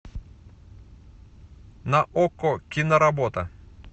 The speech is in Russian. на окко киноработа